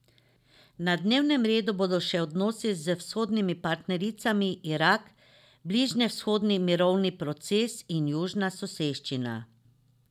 Na dnevnem redu bodo še odnosi z vzhodnimi partnericami, Irak, bližnjevzhodni mirovni proces in južna soseščina.